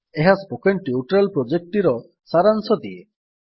ଏହା spoken tutorial ପ୍ରୋଜେକ୍ଟଟିର ସାରାଂଶ ଦିଏ